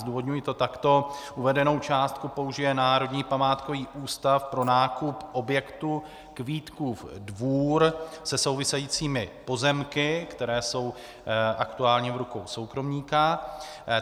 Zdůvodňuji to takto: Uvedenou částku použije Národní památkový ústav pro nákup objektu Kvítkův Dvůr se souvisejícími pozemky, které jsou aktuálně v rukou soukromníka.